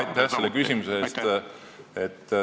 Aitäh selle küsimuse eest!